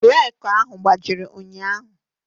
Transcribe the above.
Reeku ahụ gbajịrị ụnyaahụ.